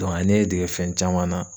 a ye ne dege fɛn caman na.